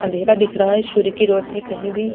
अँधेरा दिख रहा सूर्य की रौशनी कही भी --